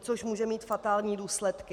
což může mít fatální důsledky.